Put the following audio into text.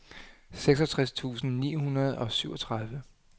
seksogtres tusind ni hundrede og syvogtredive